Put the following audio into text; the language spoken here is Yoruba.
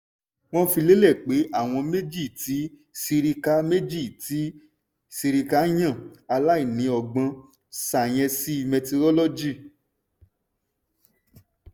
wọ́n fi lélẹ̀ pé àwọn méjì tí sirika méjì tí sirika yàn aláìní ọgbọ́n sáyẹ́ńsì mẹtirolọ́gì.